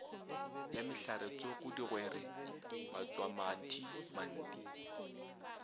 ya mehlaretsoko digwere matswamathi manti